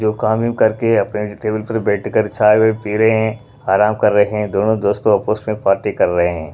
जो काम हम करके अपने टेबल पर बैठकर चाय-वाय पी रहे हैं आराम कर रहे हैं दोनों दोस्तों आपस में पार्टी कर रहे हैं।